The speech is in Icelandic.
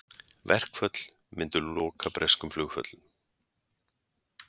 Verkföll myndu loka breskum flugvöllum